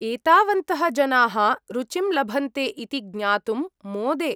एतावन्तः जनाः रुचिं लभन्ते इति ज्ञातुं मोदे।